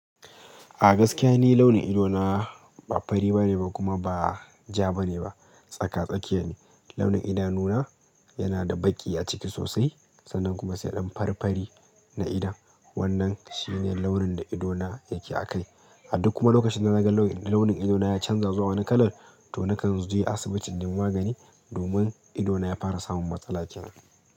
A gaskiya ni launin idona ba fari bane ba kuma ba ja bane ba. Tsaka-tsakiya ne. Launin idanuna yana da baƙi a ciki sosai sannan kuma sai ɗan farfari na idon. Wannan shi ne launin da idona yake a kai. A duk kuma lokacin da naga launin idona ya canza zuwa wani kalar, to nakan zo yi asibiti don magani domin idona ya fara samun matsala kenan.